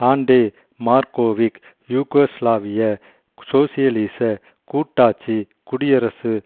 ஆன்டே Markovic யூகோஸ்லாவிய சோசியலிசக் கூட்டாட்சி குடியரசு